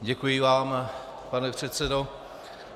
Děkuji vám, pane předsedo.